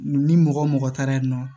Ni mɔgɔ mɔgɔ taara yen nɔ